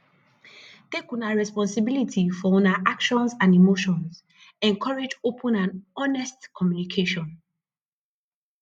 take una responsibility for una own actions and emotions encourage open and honest communication